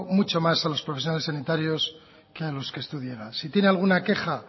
mucho más a los profesionales sanitarios que a los que usted llega si tiene alguna queja